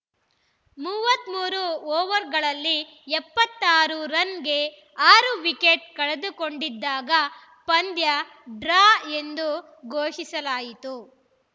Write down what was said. ಮೂವತ್ತ್ ಮೂರು ಓವರ್‌ಗಳಲ್ಲಿ ಎಪ್ಪತ್ತ್ ಆರು ರನ್‌ಗೆ ಆರು ವಿಕೆಟ್‌ ಕಳೆದುಕೊಂಡಿದ್ದಾಗ ಪಂದ್ಯ ಡ್ರಾ ಎಂದು ಘೋಷಿಸಲಾಯಿತು